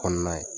Kɔnɔna ye